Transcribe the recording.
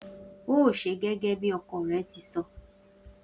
O óò s̩e gé̩gé̩ bí o̩ko̩ re̩ ti so̩!